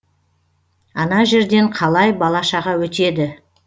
ана жерден қалай бала шаға өтеді